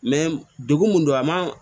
degun mun don a ma